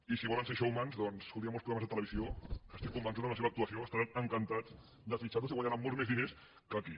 i si volen ser showmans doncs escolti hi ha molts programes de televisió que estic convençut que amb la seva actuació estaran encantats de fitxar los i que guanyaran molts més diners que aquí